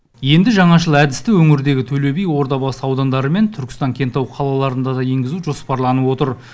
енді жаңашыл әдісті өңірдегі төле би ордабасы аудандары мен түркістан кентау қалаларында да енгізу жоспарланып отыр